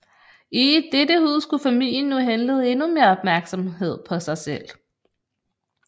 I dette hus kunne familien nu henlede endnu mere opmærksomhed på sig selv